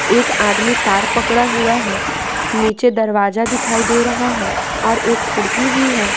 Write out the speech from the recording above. एक आदमी तार पकड़ा हुआ हैनीचे दरवाजा दिखाई दे रहा है और एक खिड़की भी है।